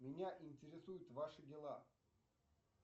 меня интересуют ваши дела